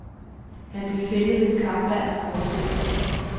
Han blev fældet ved et kampvalg om formandsposten.